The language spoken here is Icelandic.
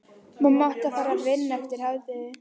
Mamma átti að fara að vinna eftir hádegið.